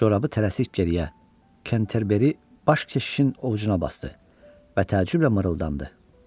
Corabı tələsik geriyə Kenterberi Baş keşişin ovcuna basdı və təəccüblə mırıldandı.